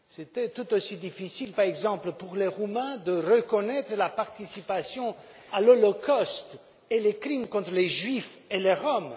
Il était tout aussi difficile, par exemple, pour les Roumains, de reconnaître leur participation à l'holocauste et aux crimes contre les Juifs et les Roms.